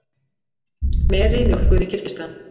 Meri mjólkuð í Kirgistan.